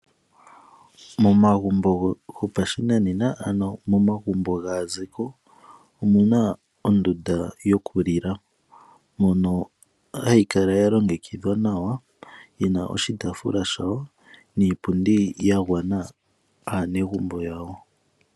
Momagumbo gopashinanena ano momagumbo gaaziko omuna ondunda yokulila mono hayi kala ya longekidhwa nawa yina oshitaafula shawo niipundi ya gwana aanegumbo yawo.